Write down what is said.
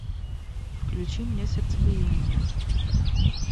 включи мне сердцебиение